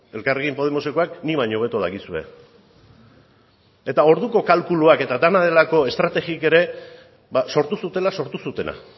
elkarrekin podemosekoek nik baino hobeto dakizue eta orduko kalkuluak eta dena delako estrategiek ere sortu zutela sortu zutena